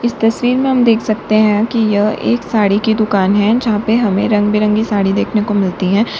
इस तस्वीर में हम देख सकते हैं कि यह एक साड़ी की दुकान है जहां पे हमें रंग बिरंगी साड़ी देखने को मिलती है।